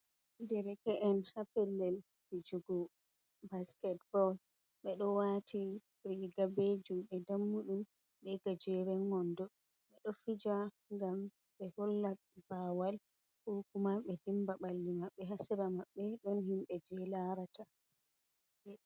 Dereke’en ha pellel fijugo basket ball, ɓeɗo waati riga be jungo dammuɗum be gajeren wondo, ɓe ɗo fija ngam be holla bawal ko kuma ɓe dimba balli maɓɓe ha sera maɓbe ɗon himɓe je larata.